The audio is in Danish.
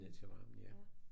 Ned til varmen ja